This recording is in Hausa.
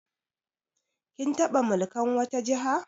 Kin taɓa mulkan wata Jiha?